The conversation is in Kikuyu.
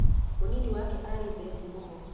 Mũnini wake aarĩ Bethi Mugo.